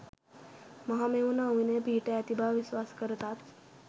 මහමෙවුනා උයනේ පිහිටා ඇති බව විශ්වාස කරතත්,